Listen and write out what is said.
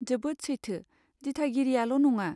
जोबोद सैथो, दिथागिरियाल' नङा।